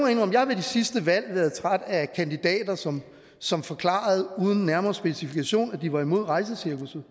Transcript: jeg har ved de sidste valg været træt af kandidater som som forklarede uden nærmere specifikation at de var imod rejsecirkusset